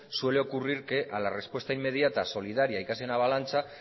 suele ocurrir que a la respuesta inmediata solidaria y casi en avalancha